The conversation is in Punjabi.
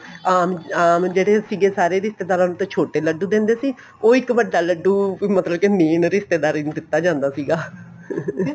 ਅਹ ਆਮ ਜਿਹੜੇ ਸੀਗੇ ਸਾਰੇ ਰਿਸ਼ਤੇਦਾਰਾ ਨੂੰ ਤਾਂ ਛੋਟੇ ਲੱਡੂ ਦਿੰਦੇ ਸੀ ਉਹ ਇੱਕ ਵੱਡਾ ਲੱਡੂ ਮਤਲਬ ਕੇ main ਰਿਸ਼ਤੇਦਾਰੀ ਨੂੰ ਦਿੱਤਾ ਜਾਂਦਾ ਸੀਗਾ